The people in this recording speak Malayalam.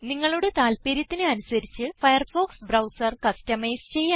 നിങ്ങളുടെ താല്പര്യത്തിന് അനുസരിച്ച് ഫയർഫോക്സ് ബ്രൌസർ കസ്റ്റമൈസ് ചെയ്യാം